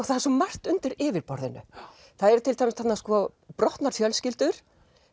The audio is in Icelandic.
það er svo margt undir yfirborðinu það eru til dæmis þarna brotnar fjölskyldur